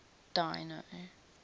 dino